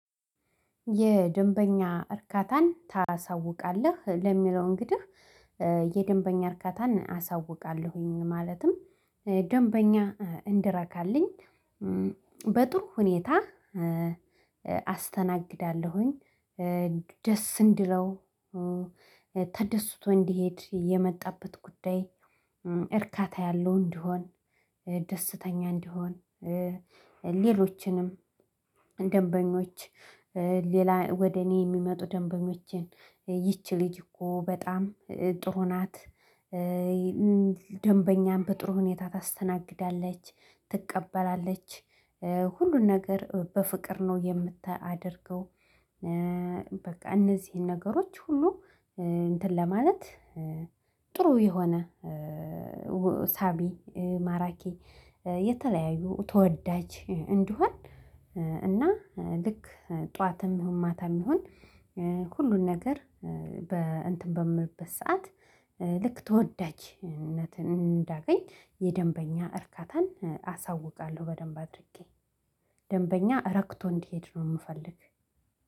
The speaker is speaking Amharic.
የደንበኛ እርካታን ታሳውቃለህ ለሚለው? እንግዲህ የደንበኛ እርካታን አሳውቃለሁኝ ማለትም ደንበኛ እንዲረካልኝ በጥሩ ሁኔታ አስተናግዳለሁኝ። ደስ እንዲለው ተደስቶ እንዲሄድ የመጣበት ጉዳይ እርካታ ያለው እንዲሆን ደስተኛ እንዲሆን። ሌሎችንም ደንበኞች ሌላ ወደ እኔ የሚመጡ ደንበኞችን ይቺ ልጅ እኮ በጣም ጥሩ ናት። ደንበኛን በጥሩ ሁኔታ ታስተናግዳለች ትቀበላለች ሁሉን ነገር በፍቅር ነው የምታደርገው። በቃ እነዚህን ነገሮች ሁሉ እንትን ለማለት ጥሩ የሆነ ሳቢ ማራኪ የተለያዩ ተወዳጅ እንድሆን። እና ልክ ጠዋትም ይሁን ማታም ይሁን ሁሉን ነገር በእንትን በምልበት ሰዓት ልክ ተወዳጅነትን እንዳገኝ የደንበኛ እርካታን አሳውቃለሁ በደንብ አድርጌ ደንበኛ ረክቶ እንዲሄድ ነው የምፈልግ